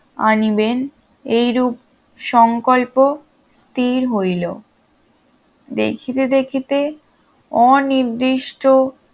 আনিবেন এইরূপ সংকল্প স্থির হইল দেখিতে দেখিতে অনির্দিষ্ট